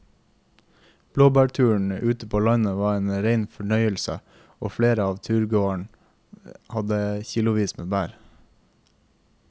Blåbærturen ute på landet var en rein fornøyelse og flere av turgåerene hadde kilosvis med bær.